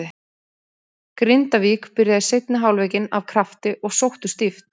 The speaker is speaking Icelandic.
Grindavík byrjaði seinni hálfleikinn af krafti og sóttu stíft.